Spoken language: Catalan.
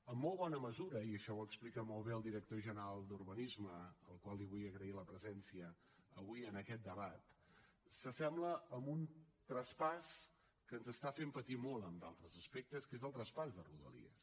amb molt bona mesura i això ho explica molt bé el director general d’urbanisme al qual vull agrair la presència avui en aquest debat s’assembla a un traspàs que ens està fent patir molt en d’altres aspectes que és el traspàs de rodalies